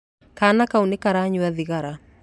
Kaana kau nĩ karanyua thigara.